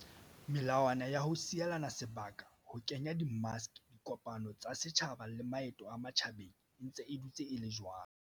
Melawana ya ho sielana sebaka, ho kenya di maske, dikopano tsa setjhaba le maeto a matjhabeng e ntse e dutse e le jwalo.